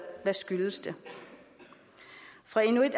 hvad skyldes det fra inuit